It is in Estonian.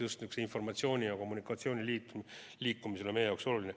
Just sihuke informatsiooni ja kommunikatsiooni liikumine on meie jaoks oluline.